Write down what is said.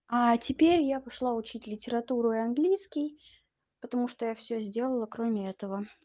а теперь я пошла учить литературу и английский потому что я всё сделала кроме этого